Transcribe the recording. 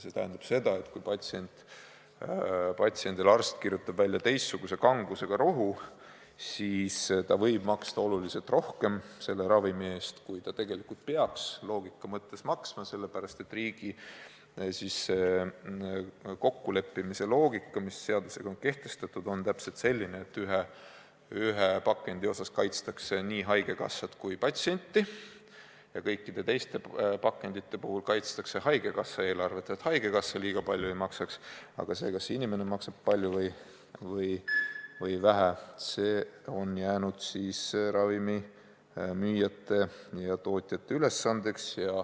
See tähendab seda, et kui arst kirjutab patsiendile välja teistsuguse kangusega rohu, siis ta võib maksta ravimi eest oluliselt rohkem, kui ta tegelikult loogika mõttes peaks maksma, sellepärast et riigi kokkuleppimise loogika, mis on seadusega kehtestatud, on täpselt selline, et ühe pakendi puhul kaitstakse nii haigekassat kui ka patsienti, kuid kõikide teiste pakendite puhul kaitstakse haigekassa eelarvet, et haigekassa liiga palju ei maksaks, aga see, kas inimene maksab palju või vähe, on jäänud ravimimüüjate ja tootjate ülesandeks.